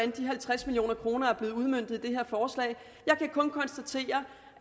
de halvtreds million kroner er blevet udmøntet jeg kan kun konstatere